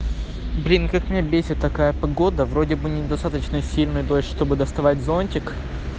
блин как меня бесит такая погода вроде бы недостаточно сильный дождь чтобы доставать зонтик